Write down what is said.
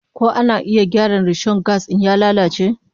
Ko ana iya gyara rishon gas in ya lalace?